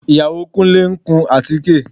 Ìyàwó Kúnlé ń kun àtíké